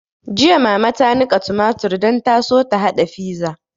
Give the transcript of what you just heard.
Jiya mama ta niƙa tumatur don ta so ta haɗa fiza